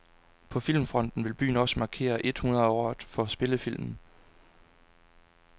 På filmfronten vil byen også markere ethundrede året for spillefilmen.